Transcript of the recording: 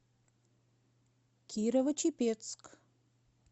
кирово чепецк